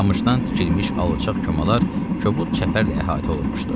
Qamışdan tikilmiş alçaq komalar kobud çəpərlə əhatə olunmuşdu.